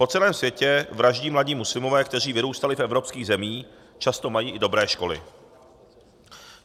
Po celém světě vraždí mladí muslimové, kteří vyrůstali v evropských zemích, často mají i dobré školy.